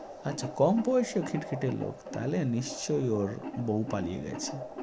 আচ্ছা, কম বয়সের খিটখিটে লোক। তাহলে নিশ্চয়ই ওর বউ পালিয়ে গেছে।